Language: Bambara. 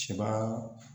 Sebaa